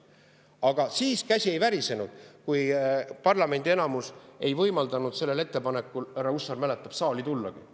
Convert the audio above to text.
Aga siis käsi ei värisenud, kui parlamendi enamus ei võimaldanud sellel ettepanekul, härra Hussar mäletab, saali tullagi.